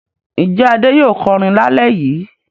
Ǹjẹ́ Adé yóò kọrin lálẹ́ yìí?